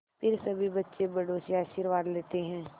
फिर सभी बच्चे बड़ों से आशीर्वाद लेते हैं